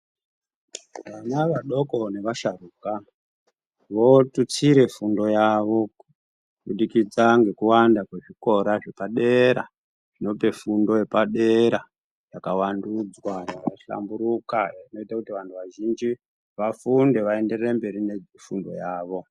Vana vadoko nevasharuka votutsire fundo yavo kubudikidza ngekuwanda kwezvikora zvepadera zvinope fundo yepadera yakavandudzwa yakahlamburuka inoite kuti vantu vazhinji vafunde vaendere mberi nefundo yavo.